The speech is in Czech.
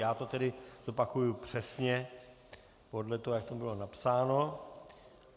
Já to tedy zopakuji přesně podle toho, jak to bylo napsáno.